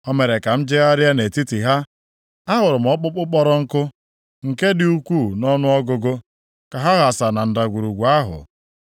O mere ka m jegharịa nʼetiti ha. Ahụrụ m ọkpụkpụ kpọrọ nkụ, nke dị ukwuu nʼọnụọgụgụ, ka ha ghasa na ndagwurugwu ahụ.